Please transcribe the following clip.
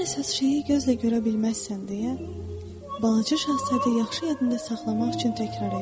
Ən əsas şeyi gözlə görə bilməzsən deyə balaca Şahzadə yaxşı yadında saxlamaq üçün təkrərlədi.